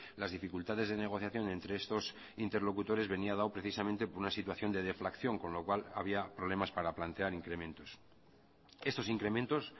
las dificultades de negociación entre estos interlocutores venía dado precisamente por una situación de deflación con lo cual había problemas para plantear incrementos estos incrementos